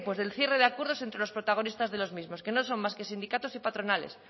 del cierre de acuerdos entre los protagonistas de los mismo que no son más que sindicatos y patronales